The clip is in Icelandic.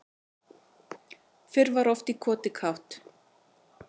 Fyrr var oft í koti kátt